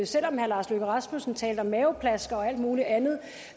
selv om herre lars løkke rasmussen talte om maveplaskere og alt muligt andet